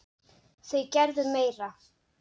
Þau gerðu meira.